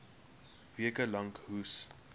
weke lank hoes